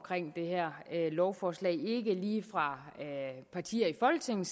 det her lovforslag ikke lige fra partier i folketinget